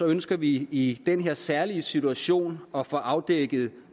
ønsker vi i den her særlige situation at få afdækket